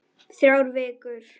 Þrjár vikur.